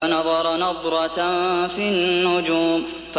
فَنَظَرَ نَظْرَةً فِي النُّجُومِ